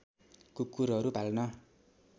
कुकुरहरू पाल्न